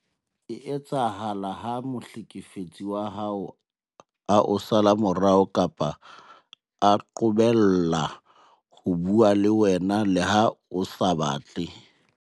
e etsahala ha mohlekefetsi wa hao a o sala morao kapa a qobella ho bua le wena le ha o sa batle.